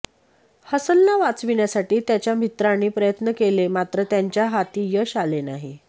हसनला वाचविण्यासाठी त्याच्या मित्रांनी प्रयत्न केले मात्र त्यांच्या हाती यश आले नाही